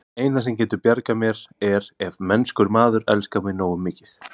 Það eina, sem getur bjargað mér, er ef mennskur maður elskar mig nógu mikið.